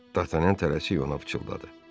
Dartanyan tələsik ona pıçıldadı.